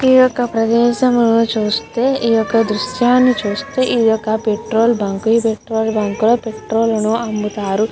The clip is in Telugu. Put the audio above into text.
ఈయొక్క ప్రదేశమును చూస్తే ఈయొక్క దృశ్యాన్ని చూస్తే ఈయొక్క పెట్రోల్ బంకు పెట్రోలు బంకు లో పెట్రోలు ను అమ్ముతారు.